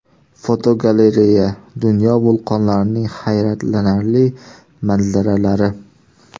Fotogalereya: Dunyo vulqonlarining hayratlanarli manzaralari.